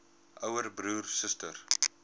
ouer broer suster